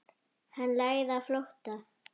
Hann lagði á flótta.